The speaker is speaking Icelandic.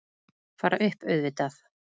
Fara upp, auðvitað.